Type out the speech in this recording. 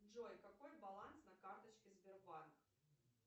джой какой баланс на карточке сбербанк